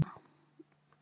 Ný tillaga um sumartíma.